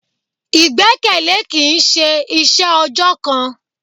Ìgbẹ́kẹ̀lé kìí ṣe iṣẹ́ ọjọ́ kan.